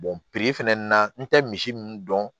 fɛnɛ na n tɛ misi ninnu dɔn